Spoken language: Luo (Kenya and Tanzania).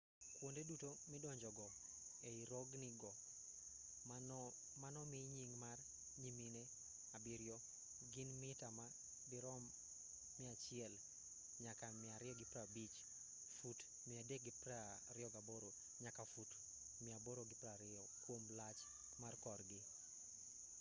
kwonde duto midonjogo ei rogni go manomi nying mar nyimine abiriyo” gin mita ma dirom 100 nyaka 250 fut 328 nyaka fut 820 kwom lach mar korgi